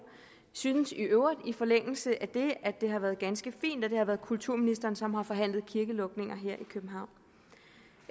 synes i øvrigt i forlængelse af det at det har været ganske fint at det har været kulturministeren som har forhandlet kirkelukninger her i københavn